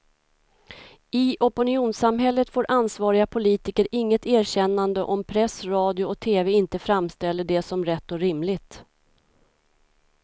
I opinionssamhället får ansvariga politiker inget erkännande om press, radio och tv inte framställer det som rätt och rimligt.